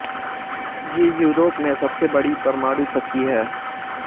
ये यूरोप में सबसे बड़ी परमाणु शक्ति है